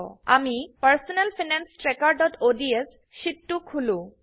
আমিPersonal finance trackerঅডছ sheet টো খুলো